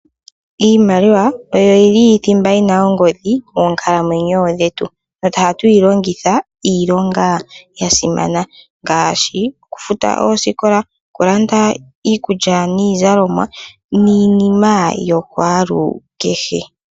Iimaliwa oyo yili thimba yi na ongodhi moonkalamwenyo dhetu nohatu yi longitha iilonga ya simana ngaashi oku futa oosikola, oku landa iikulya niizalomwa niinima yakwalukehe.